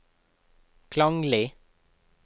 klanglig